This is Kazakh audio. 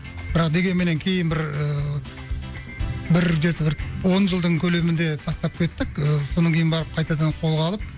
бірақ дегенменен кейін бір ыыы бір жеті бір он жылдың көлемінде тастап кеттік ыыы содан кейін барып қайтадан қолға алып